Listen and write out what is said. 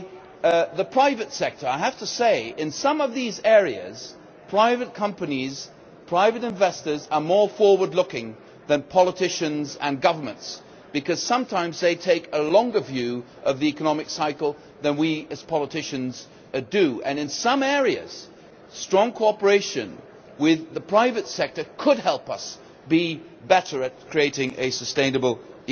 I have to say in some of these areas private companies, private investors, are more forward looking than politicians and governments, because sometimes they take a longer view of the economic cycle than we as politicians do, and in some areas strong cooperation with the private sector could help us be better at creating a sustainable economy, and also in sustainable